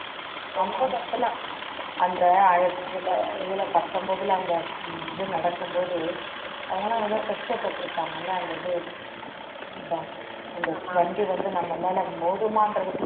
அந்த இதுல இதுல பத்தொன்பதுல அந்த இது நடக்கும் போது அவங்க எல்லாம் எவ்ளோ கஷ்ட பட்டிருப்பாங்கள அந்த இது அந்த வண்டி வந்து நம்ம மேல மோதுமா